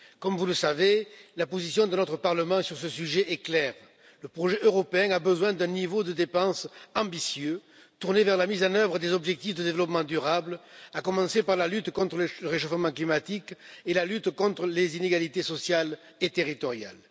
Comme vous le savez, la position de notre Parlement sur ce sujet est claire le projet européen a besoin d'un niveau de dépenses ambitieux, tourné vers la mise en œuvre des objectifs de développement durable, à commencer par la lutte contre le réchauffement climatique et la lutte contre les inégalités sociales et territoriales.